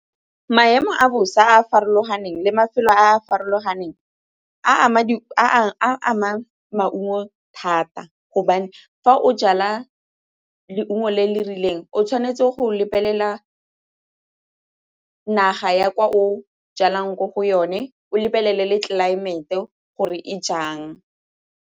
Maemo a bosa a a farologaneng le mafelo a a farologaneng a ama maungo thata gobane fa o jala le nngwe le le rileng o tshwanetse go lebelela naga ya kwa o jalang mo go yone o lebelele le tlelaemete gore e jang.